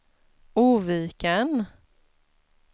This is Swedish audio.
Oviken